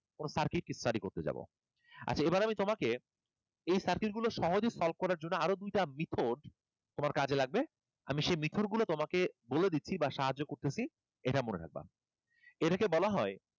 কোনো circuit কে study করতে যাবো, আচ্ছা এবার আমি তোমাকে এই circuit গুলো সহজে solve করার জন্য আরো দুইটা লিখো, তোমার কাজে লাগবে। আমি শে method গুলো তোমাকে বলে দিচ্ছি বা সাহায্য করছি এটা মনে রাখবা। এটাকে বলা হয়,